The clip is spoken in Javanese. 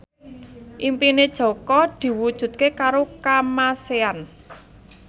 impine Jaka diwujudke karo Kamasean